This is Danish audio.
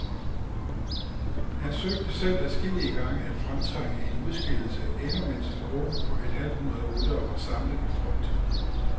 Han søgte selv adskillige gange at fremtvinge en udskillelse, endnu mens en gruppe på et halvt hundrede ryttere var samlet i front.